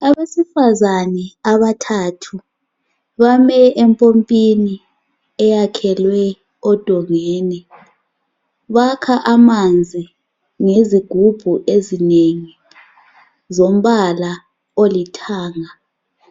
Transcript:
Abesifazane abathathu bame empompini eyakhelwe odongeni bakha amanzi ngezigubhu ezinengi zombala olithanga.